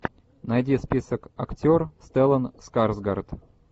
найди список актер стеллан скарсгард